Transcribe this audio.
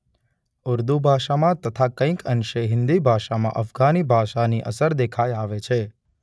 ઉર્દુ ભાષામાં તથા કઇંક અંશે હિન્દી ભાષામાં અફઘાની ભાષાની અસર દેખાઇ આવે છે.